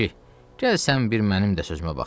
Kişi, gəl sən bir mənim də sözümə bax.